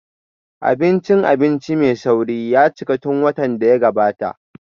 Abincin abinci mai sauri ya cika tun watan da ya gabata